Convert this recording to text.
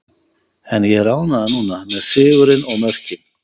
En ég er ánægður núna, með sigurinn og mörkin.